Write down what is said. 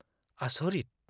आस'रिथ!